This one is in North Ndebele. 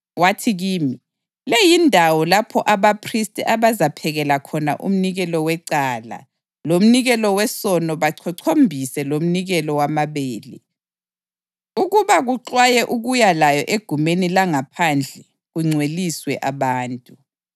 Wathi kimi, “Le yindawo lapho abaphristi abazaphekela khona umnikelo wecala lomnikelo wesono bachochombise lomnikelo wamabele, ukuba kuxwaywe ukuya layo egumeni langaphandle kungcweliswe abantu.”